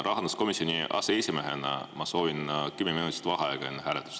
Rahanduskomisjoni aseesimehena ma soovin kümme minutit vaheaega enne hääletust.